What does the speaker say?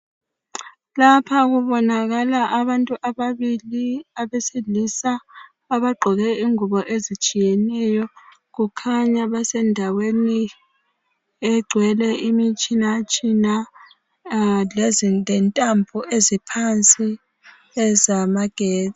Lapha kubonakala abantu ababili abesilisa abagqoke ingubo ezitshiyeneyo. Kukhanya basendaweni egcwele imitshinatshina lentambo eziphansi zamagetsi.